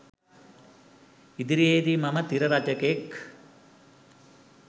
ඉදිරියේදී මම තිර රචකයෙක්